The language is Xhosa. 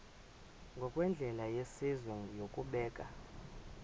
ngokwendlela yesizwe yokubeka